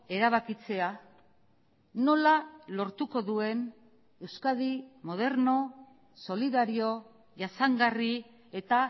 erabakitzea nola lortuko duen euskadi moderno solidario jasangarri eta